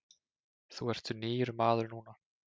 Þú ert nýr maður núna.